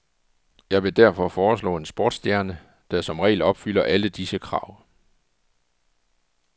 Jeg vil derfor foreslå en sportsstjerne, der som regel opfylder alle disse krav.